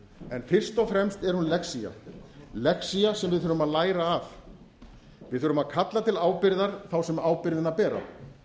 en fyrst og fremst er hún lexía lexía sem við þurfum að læra af við þurfum að kalla til ábyrgðar þá sem ábyrgðina bera